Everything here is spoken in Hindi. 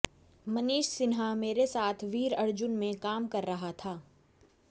मनीष सिन्हा मेरे साथ वीर अर्जुन में काम कर रहा था